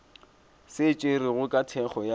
se tšerwego ka thekgo ya